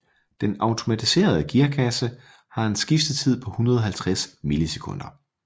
Den automatiserede gearkasse har en skiftetid på 150 millisekunder